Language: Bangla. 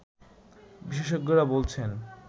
বিশেষজ্ঞরা বলছেন